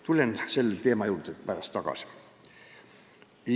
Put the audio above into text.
Tulen selle teema juurde pärast tagasi.